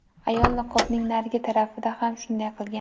Ayol niqobning narigi tarafini ham shunday qilgan.